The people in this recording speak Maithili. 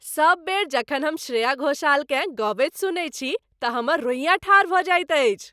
सब बेर जखन हम श्रेया घोषालकेँ गबैत सुनैत छी तँ हमर रोइयाँ ठाढ़ भऽ जाइत अछि।